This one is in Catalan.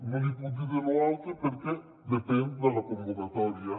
no li puc dir de lo altre perquè depèn de la convocatòria